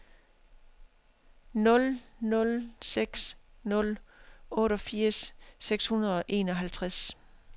nul nul seks nul otteogfirs seks hundrede og enoghalvtreds